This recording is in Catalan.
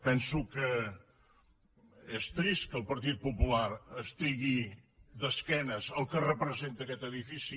penso que és trist que el partit popular estigui d’esquenes al que representa aquest edifici